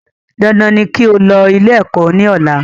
Dandan ni kí o lọ ilé ẹ̀kọ́ ní ọ̀la